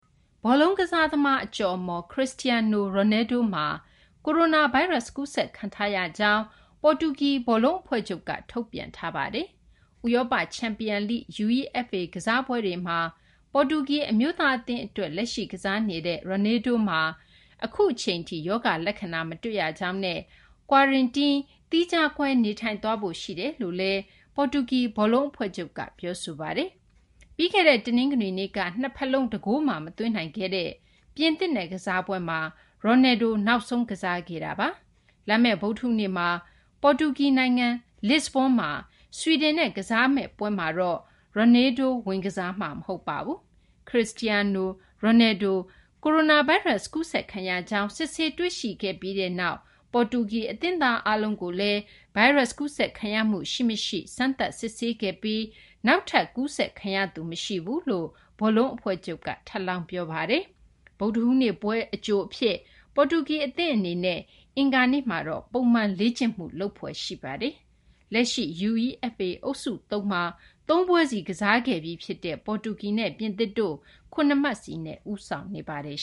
ဘောလုံး ကစားသမား အကျော်အမော် Cristiano Ronaldo မှာကိုရိုနာဗိုင်းရပ်စ် ကူးစက်ခံထားရကြောင်း ပေါ်တူဂီ ဘောလုံး အဖွဲ့ချုပ်က ထုတ်ပြန်ထားပါတယ်။ ဥရောပ ချန်ပီယံ UEFA ကစားပွဲတွေမှာ ပေါ်တူဂီ အမျိုးသား အသင်း အတွက် လက်ရှိ ကစားနေတဲ့ Ronaldo မှာအခုအချိန်ထိ ရောဂါလက္ခဏာ မတွေ့ရကြောင်းနဲ့ Quarentine - သီးခြားခွဲ နေထိုင်သွားဖို့ ရှိနေတယ်လို့လည်း ပေါ်တူဂီ ဘောလုံး အဖဲ့ွချုပ်က ပြောဆိုပါတယ်။ ပြီးခဲ့တဲ့ တနင်္ဂနွေနေ့က နှစ်ဘက်လုံး တဂိုးမှ မသွင်းနိုင်ခဲ့တဲ့ ပြင်သစ်နဲ့ ကစားပွဲမှာ Ronaldo နောက်ဆုံး ကစားခဲ့တာပါ။ ဗုဒ္ဓဟူးနေ့မှာ ပေါ်တူဂီ နိုင်ငံ လစ်စဘွန်းမှာ ဆွီဒင်နဲ့ ကစားမယ့် ပွဲမှာတော့ Ronaldo ဝင် ကစားမှာ မဟုတ်ပါဘူး။ Cristiano Ronaldo ကိုရိုနာဗိုင်းရပ်စ် ကူးစက်ခံရကြောင်း စစ်ဆေးတွေ့ရှိခဲ့ပြီးနောက်မှာ ပေါ်တူဂီ အသင်းသား အားလုံးကိုလည်း ဗိုင်းရပ်စ် ကူးစက်ခံရမှု ရှိ မရှိ စမ်းသပ် စစ်ဆေးခဲ့ပြီး နောက်ထပ် ကူးစက်ခံရသူ မရှိဘူးလို့လည်း ပေါ်တူဂီ ဘောလုံး အဖွဲ့ချုပ်က ထပ်လောင်း ပြောပါတယ်။ ဗုဒ္ဓဟူးနေ့ပွဲ အကြို အဖြစ် ပေါ်တူဂီ အသင်း အနေနဲ့ အင်္ဂါနေ့မှာတော့ ပုံမှန် လေ့ကျင့်မှု လုပ်ဖွယ်ရှိပါတယ်။ လက်ရှိ UEFA အုပ်စု ၃ မှာ ၃ ပွဲစီ ကစားခဲ့ပြီ ဖြစ်တဲ့ ပေါ်တူဂီနဲ့ ပြင်သစ်တို့ ၇ မှတ်စီနဲ့ ဦးဆောင်နေပါတယ်